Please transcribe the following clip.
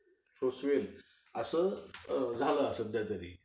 पोचवेल असं लाभ आहे सध्या तरी.